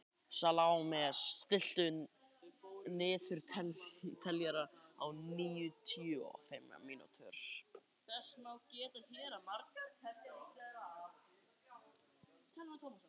Salome, stilltu niðurteljara á níutíu og fimm mínútur.